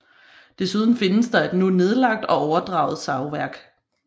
Desuden findes der et nu nedlagt og overdraget savværk